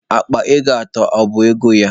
Akpa ego atọ, ọ bụ ego ya?